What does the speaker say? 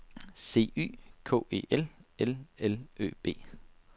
C Y K E L L L Ø B